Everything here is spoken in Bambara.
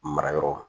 Mara yɔrɔ